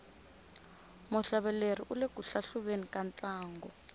muhlaveleri ule ku hlahluveni ka ntlangu